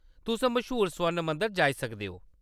तुस मश्हूर स्वर्ण मंदर जाई सकदे ओ।